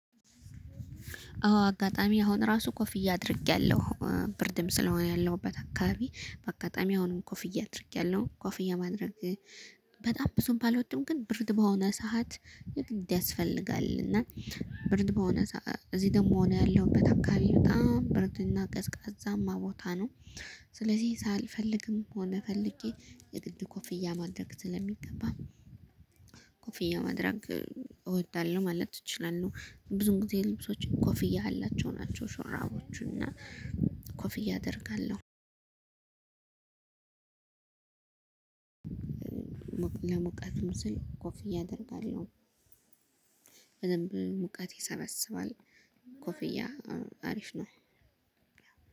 አዎ አጋጣሚ አሁን ራሱ ኮፍዬ አድርጌያለሁ ብርድም ስለሆነ ያለሁበት አካባቢ በአጋጣሚ አሁንም ኮፍያ አድርጌያለሁ ኮፍያ ማድረግ። በጣም ብዙም ባልወድም ግን ብርድ በሆነ ሰዓት የግድ ያስፈልጋል እና ብርድ በሆነ እዚህ ደግሞ እኔ ያለሁበት አካባቢ በጣም ብርድ እና ቀዝቃዛማ ቦታ ነው። ስለዚህ ሳልፈልግም ሆነ ፈልጌ የግድ ኮፍያ ማድረግ ስለሚገባ። ኮፍያ ማድረግ እወዳለሁ ማለት እችላለሁ። ብዙም ጊዜ ልብሶች ኮፍያ ያላቸው ናቸው ሽራቦቹና ኮፍያ አደርጋለሁ። ለሙቀትን ስል ኮፍያ አደርጋለሁ። በደንብ ሙቀት ይሰበስባል። ኮፍያ አሪፍ ነው።